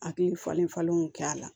Akili falen falenlenw kɛ a la